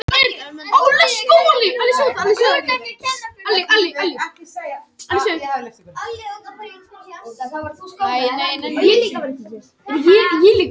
Kíkjum á umfjöllun um leikina og myndir úr þeim